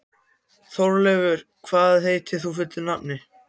Þórleifur, hvað heitir þú fullu nafni?